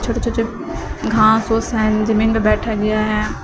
और घांस ओस हैं जमीन पर बैठा गया हैं।